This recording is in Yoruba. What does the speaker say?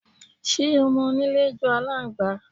Ṣé ọmọlé jọ aláǹgbá?